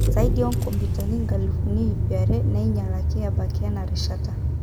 Saidi o komputani 200,000 neinyalaki ebaiki ena rishata.